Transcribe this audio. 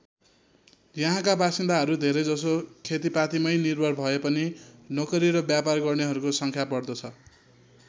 यहाँका बासिन्दाहरू धेरैजसो खेतिपातीमै निर्भर भएपनि नोकरी र व्यापार गर्नेहरूको सङ्ख्या बढ्दो छ।